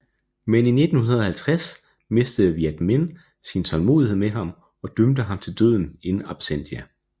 Men i 1950 mistede Viet Minh sin tålmodighed med ham og dømte ham til døden in absentia